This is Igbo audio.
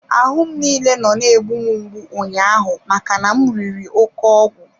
Ahụ m niile nọ na-egbu mgbu ụnyaahụ maka na m riri oke ọgwụ.